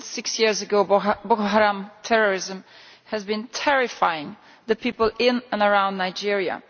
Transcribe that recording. For six years Boko Haram terrorism has been terrifying the people in and around Nigeria.